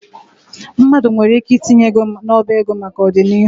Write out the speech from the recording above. Mmadụ nwere ike itinye ego n'ọba ego maka ọdịnihu.